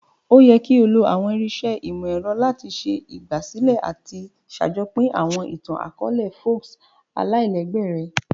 O yẹ ki o lo àwọn irinṣẹ́ ìmọ̀-ẹrọ lati ṣe ìgbàsílẹ̀ àti sàjopín àwọn itan-akọọlẹ folk aláìlégbé rẹ.